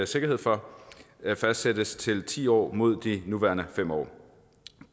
sikkerhed for fastsættes til ti år mod de nuværende fem år